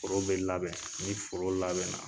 Foro bɛ labɛn, ni foro labɛnna